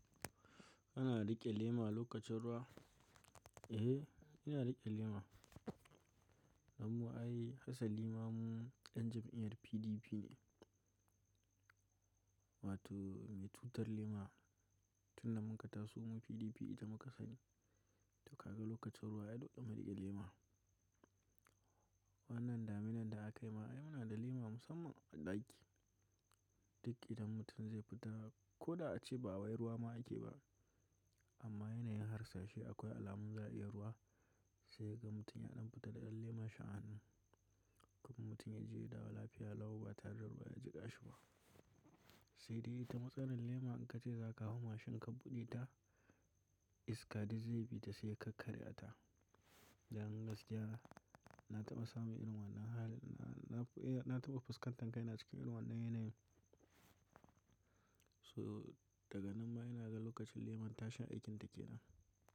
Ana riƙe lema lokacin ruwa? Eh, ina riƙe lema. Amma ai hasalima mu yan jam'iyar PDP ne. Wato mai tutar lema. Tun da mun ka taso mu PDP ita muka sani. To ka ga lokacin ruwa ya dauƙa mu riƙe lema. Wannan daminan da aka yi ma ai muna da lema musamman a ɗaki. Duk idan mutum zai fita ko da ace ba wayar ruwa ma ake ba. Amma yanayin harsashe akwai alamun za'iyan ruwa sai ga mutum ya ɗan fita da ɗan lema sha'an. Kuma mutum ya je ya dawo lafiya lau ba tare da ruwa ya ji ƙashi ba. Sai dai ta matsalar lema in ka ce za ka hau mashin ka buɗe ta iska dai zai bi ta sai ka karya ta. Da an gasgaya na taɓa samu inuwar nan hali na, na, eh na taɓa fuskantar kai na cikin inuwar nan yanayin. So daga nan ma ina ga lokacin lemon ta sha aikin da ke nan.